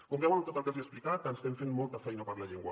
com veuen amb tot el que els hi he explicat estem fent molta feina per la llengua